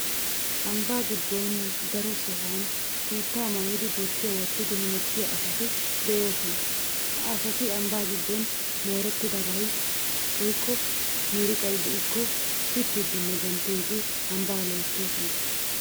Ambba giddon daro sohuwan tuuttaa maayidi bottiya wottidi hemettiya asati de'oosona. Ha asati ambbaa giddon moorettidabay woykko miiriqay de'ikko pittidinne denttidi ambbaa loyittoosona.